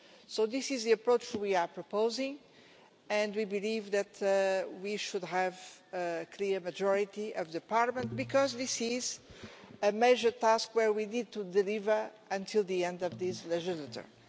So this is the approach we are proposing, and we believe that we should have a clear majority of the Parliament, because this is a major task where we need to deliver by the end of this legislature.